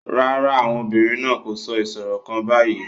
No, the women are not saying a riddle right now